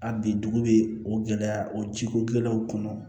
A bi dugu be o gɛlɛya o ji ko gɛlɛyaw kɔnɔ